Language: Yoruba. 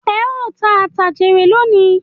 Ẹ ó tà àtà jèrè lónìí